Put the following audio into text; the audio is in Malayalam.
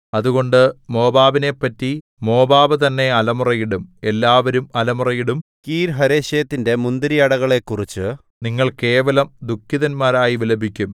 അതുകൊണ്ട് മോവാബിനെപ്പറ്റി മോവാബ് തന്നെ അലമുറയിടും എല്ലാവരും അലമുറയിടും കീർഹരേശെത്തിന്റെ മുന്തിരിയടകളെക്കുറിച്ചു നിങ്ങൾ കേവലം ദുഃഖിതന്മാരായി വിലപിക്കും